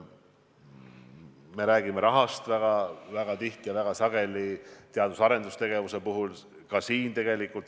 Me räägime rahast väga tihti ja väga sageli ka teadus- ja arendustegevuse puhul.